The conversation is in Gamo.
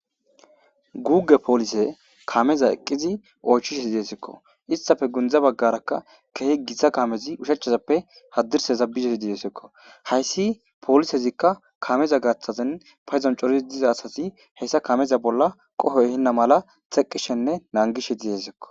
Goge poolise kameza eqqizi oychishe diyesekko istafe gundza baggarakka keehi gitsa kamezi ushachezappe haddirse zabizesi diesekko hayssi polisezikka kameza gaaththazen payezon corisi diza asasi heyssa kameza bolla qohoy hinna mala xeqqishenne nangishe diyesekko.